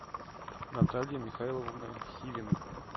наталья михайловна хивина